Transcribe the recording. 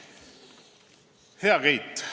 Hea Keit!